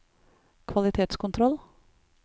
kvalitetskontroll